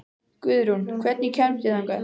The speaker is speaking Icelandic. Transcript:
Guðrún, hvernig kemst ég þangað?